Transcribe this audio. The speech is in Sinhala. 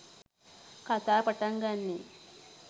කතාව පටන් ගන්නේ.